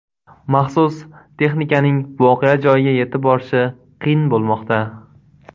Maxsus texnikaning voqea joyiga yetib borishi qiyin bo‘lmoqda.